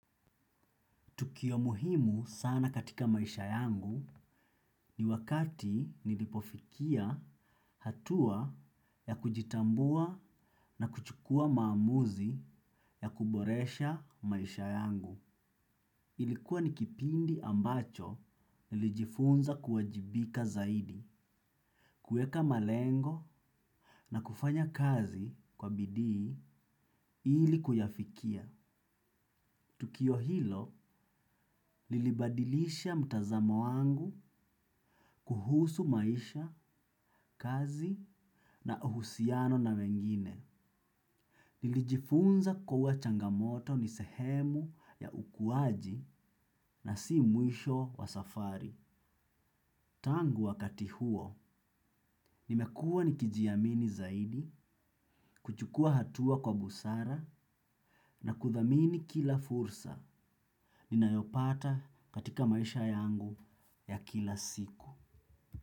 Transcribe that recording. Tukio muhimu sana katika maisha yangu ni wakati nilipofikia hatua ya kujitambua na kuchukua maamuzi ya kuboresha maisha yangu. Ilikuwa ni kipindi ambacho nilijifunza kuwajibika zaidi, kueka malengo na kufanya kazi kwa bidii ili kuyafikia. Tukio hilo lilibadilisha mtazamo wangu kuhusu maisha, kazi na uhusiano na mengine. Nilijifunza kuwa changamoto ni sehemu ya ukuwaji na si mwisho wa safari. Tangu wakati huo, nimekuwa ni kijiamini zaidi, kuchukua hatua kwa busara na kudhamini kila fursa. Ninayopata katika maisha yangu ya kila siku.